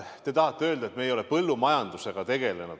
Te tahate öelda, et me ei ole põllumajandusega tegelenud.